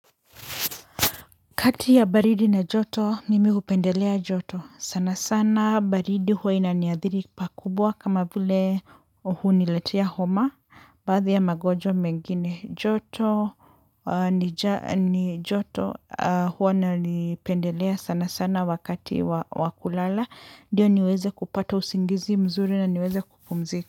Kati ya baridi na joto, mimi hupendelea joto, sana sana baridi huwa inaniadhiri pakubwa kama vile huu uniletea homa, baadhi ya mgonjwa mengine joto, ni joto huwa nalipendelea sana sana wakati wa kulala, ndiyo niweze kupata usingizi mzuri na niweze kupumzika.